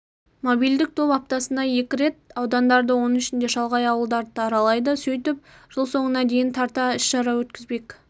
мобильдік топ аптасына екі рет аудандарды оның ішінде шалғай ауылдарды да аралайды сөйтіп жыл соңына дейін тарта іс-шара өткізбек